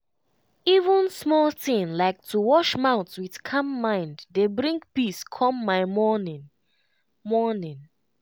even small thing like to wash mouth with calm mind dey bring peace come my morning. morning.